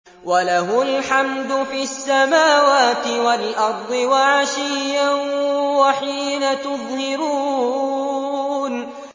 وَلَهُ الْحَمْدُ فِي السَّمَاوَاتِ وَالْأَرْضِ وَعَشِيًّا وَحِينَ تُظْهِرُونَ